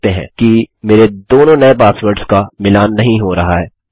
आप देख सकते हैं कि मेरे दोनों नये पासवर्ड्स का मिलान नहीं हो रहा है